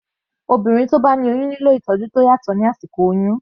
Obìnrin tí ó bá ní oyún nílò ìtọ́jú tó yàtọ̀ ní àsìkò oyún.